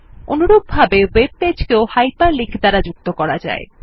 অনুরূপভাবে ওয়েব পেজকেও hyper link দ্বারা যুক্ত করা যায়